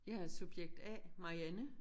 Jeg er subjekt A Marianne